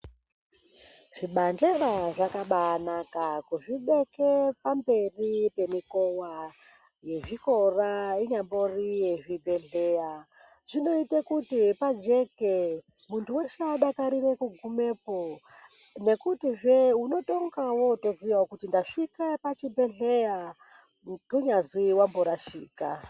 Zvibandera zvakabanaka kuzvibeke pamberi pemukova yezvikora inyambori yezvibhedhlera. Zvinoite kuti pajeke muntu veshe adakarire kugumepo, nekutizve unotonga votoziyavo kuti ndasvika pachibhedhleya kunyazi vamborasika.